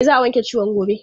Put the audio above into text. E, za a wanke ciwon gobe.